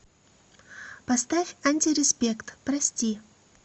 поставь антиреспект прости